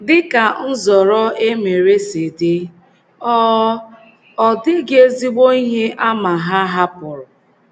Dị ka nzọrọ e mere si dị, ọ ọ dịghị ezigbo ihe àmà ha hapụrụ.